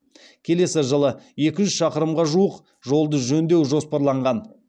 келесі жылы екі жүз шақырымға жуық жолды жөндеу жоспарланған